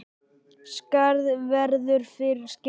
Skarð verður fyrir skildi.